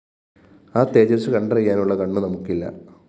ആ തേജസ്സു കണ്ടറിയാനുള്ള കണ്ണു നമുക്കില്ല